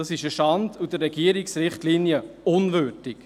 Dies ist eine Schande und der Regierungsrichtlinien unwürdig.